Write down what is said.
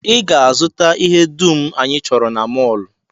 I ga-azụta ihe dum anyị chọrọ na mọl!